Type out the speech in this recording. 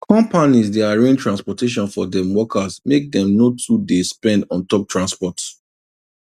conpanies dey arrange transportation for dem workers make dem no too dey spend on top transport